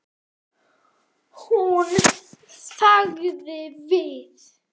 Hún þagði við.